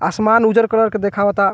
आसमान उज्जर कलर के देखावाता।